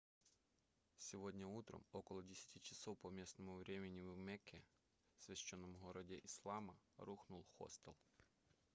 сегодня утром около 10 часов по местному времени в мекке священном городе ислама рухнул хостел